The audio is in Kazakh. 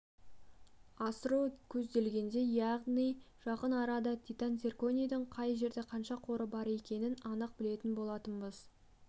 асыру көзделген яғни жақын араларда титан-цирконийдің қай жерде қанша қоры бар екендігін анық білетін болатынбыз